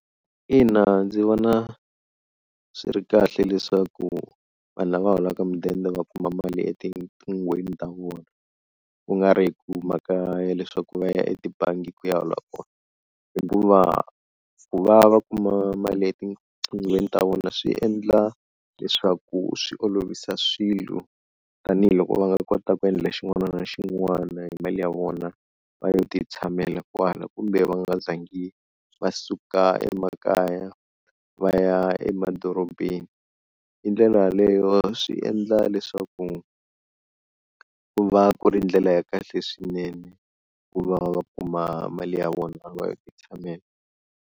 Ina ndzi vona swi ri kahle leswaku vanhu lava holaka mudende va kuma mali etiqinghweni ta vona, ku nga ri hi mhaka ya leswaku va ya etibangi ku ya hola kona hikuva ku va va kuma mali etinqinghweni ta vona swi endla leswaku swi olovisa swilo tanihiloko va nga kota ku endla xin'wana na xin'wana hi mali ya vona va yo ti tshamela kwala kumbe va nga zangi va suka emakaya va ya emadorobeni, hi ndlela yaleyo swi endla leswaku ku va ku ri ndlela ya kahle swinene ku va va kuma mali ya vona va yo ti tshamela.